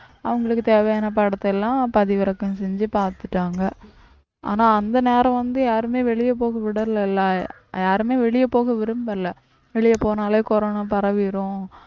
அவங்களுக்கு தேவையான படத்தை எல்லாம் பதிவிறக்கம் செஞ்சு பாத்துட்டாங்க ஆனா அந்த நேரம் வந்து யாருமே வெளிய போக விடல இல்ல யாருமே வெளிய போக விரும்பல வெளிய போனாலே corona பரவிரும்